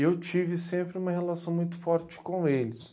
E eu tive sempre uma relação muito forte com eles.